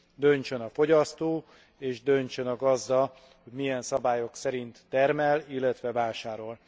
Döntsön a fogyasztó, és döntsön a gazda, hogy milyen szabályok szerint termel, illetve vásárol.